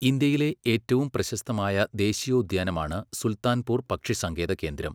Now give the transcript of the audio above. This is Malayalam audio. ഇന്ത്യയിലെ ഏറ്റവും പ്രശസ്തമായ ദേശീയോദ്യാനമാണ് സുൽത്താൻപൂർ പക്ഷിസങ്കേത കേന്ദ്രം.